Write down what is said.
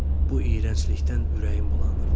Bu iyrənclikdən ürəyim bulanırdı.